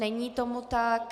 Není tomu tak.